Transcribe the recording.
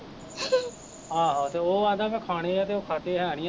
ਆਹੋ ਤੇ ਉਹ ਐਦਾ ਮੈਂ ਖਾਣੇ ਆ ਤੇ ਓਹ ਖਾਦੇ ਹੈਨੀ ਆ ਤੇ